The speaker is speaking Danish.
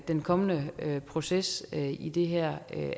den kommende proces i det her